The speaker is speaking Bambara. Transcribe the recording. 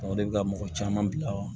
o de bɛ ka mɔgɔ caman bila